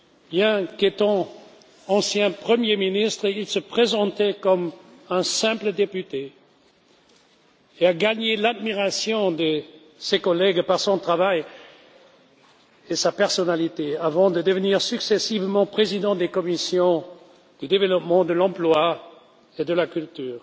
Bien qu'étant ancien Premier ministre, il se présentait comme un simple député et a gagné l'admiration de ses collègues par son travail et sa personnalité, avant de devenir successivement président des commissions du développement, de l'emploi et de la culture.